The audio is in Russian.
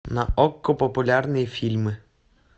на окко популярные фильмы